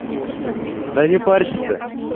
да не парься ты